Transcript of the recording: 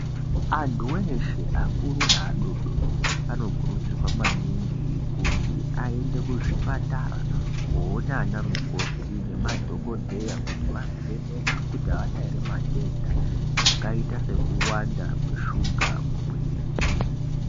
Antu eeshe akuru neadodorí añokurudzirwa maninhi kuti aende kuzvipatara koona ana mukoto nemadhokodheya kuti vavheñekwe kuti àana ere matenda akaita sekuwanda shuga mumwiri.